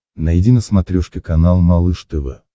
найди на смотрешке канал малыш тв